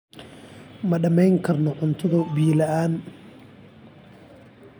Ma dhammayn karno cuntada biyo la'aan.